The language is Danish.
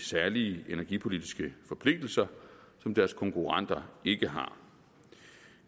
særlige energipolitiske forpligtelser som deres konkurrenter ikke har